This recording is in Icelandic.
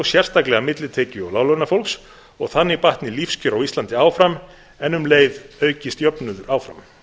sérstaklega millitekju og láglaunafólks og þannig batni lífskjör á íslandi áfram en um leið aukist jöfnuður áfram